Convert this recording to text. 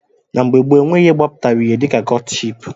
Na mgbe gboo, enweghị ihe gbapụtara ihe dịka kọtship